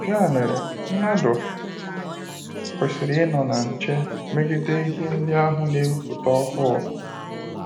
Ya mere, mmadụ kwesịrị inọ na nche megide ihe ndị ahụ n"ewuputa ọhụụ.